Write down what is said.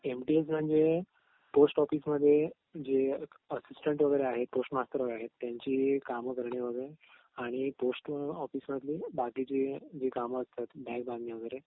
M T S म्हणजे post ऑफिसमध्ये जे असिस्टन्ट वगैरे आहेत पोस्टमास्तर वगैरे आहेत त्यांची काम करणे आणि पोस्ट ऑफिस मधील बाकीची जी काम असतात वगैरे